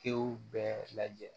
Tew bɛɛ lajɛ